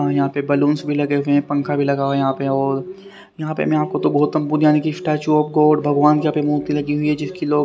और यहां पे बलूंस भी लगे हुए हैं पंखा भी लगा हुआ है यहां पे और यहां पे मैं आपको तो बहुत हमको जाने की स्टैच्यू ऑफ गॉड भगवान के मूर्ती लगी हुई है जिसकी लोग--